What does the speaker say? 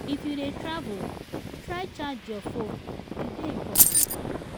if you dey travel try charge your phone e dey important.